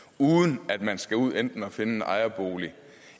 uden at man skal ud enten at finde en ejerbolig